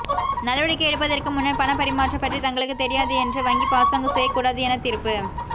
நடவடிக்கை எடுப்பதற்கு முன்னர் பணபரிமாற்றம் பற்றி தங்களுக்கு தெரியாது என்று வங்கி பாசாங்கு செய்ய கூடாது என தீர்ப்பு